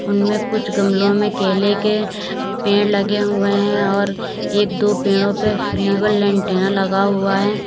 इनमें कुछ गमले में केले के पेड़ लगे हुए हैं और एक दो पेड़ों पर लगा हुआ है।